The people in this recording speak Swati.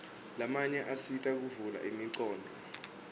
lamanye asita kuvula ingcondvo